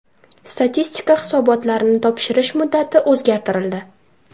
Statistika hisobotlarini topshirish muddati o‘zgartirildi.